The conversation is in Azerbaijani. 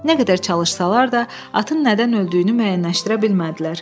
Nə qədər çalışsalar da, atın nədən öldüyünü müəyyənləşdirə bilmədilər.